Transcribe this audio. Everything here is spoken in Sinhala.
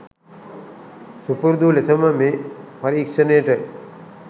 සුපුරුදු ලෙසම මේ පරීක්ෂණයට